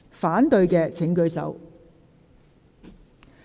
反對的請舉手。